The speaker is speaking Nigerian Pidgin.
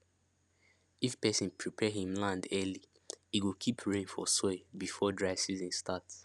if person prepare him land early e go keep rain for soil before dry season start